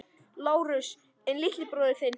LÁRUS: En litli bróðir þinn?